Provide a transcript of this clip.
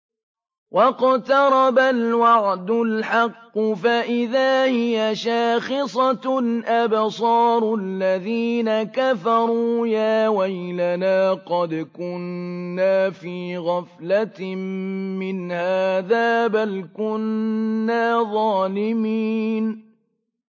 وَاقْتَرَبَ الْوَعْدُ الْحَقُّ فَإِذَا هِيَ شَاخِصَةٌ أَبْصَارُ الَّذِينَ كَفَرُوا يَا وَيْلَنَا قَدْ كُنَّا فِي غَفْلَةٍ مِّنْ هَٰذَا بَلْ كُنَّا ظَالِمِينَ